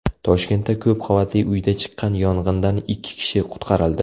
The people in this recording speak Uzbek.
Toshkentda ko‘p qavatli uyda chiqqan yong‘indan ikki kishi qutqarildi.